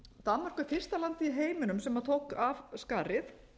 danmörk er fyrsta landið í heiminum sem tók af skarið